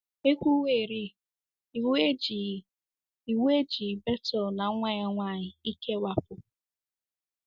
E kwuwerị, iwu ejighị iwu ejighị Bethuel na nwa ya nwanyị ikewapụ.